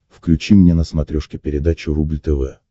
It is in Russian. включи мне на смотрешке передачу рубль тв